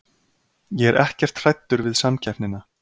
Ég er ekkert hræddur við samkeppnina.